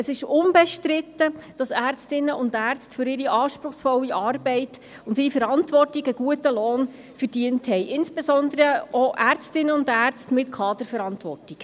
Es ist unbestritten: Ärztinnen und Ärzte verdienen für ihre anspruchsvolle Arbeit und für ihre Verantwortung einen guten Lohn, insbesondere auch Ärztinnen und Ärzte mit Kaderverantwortung.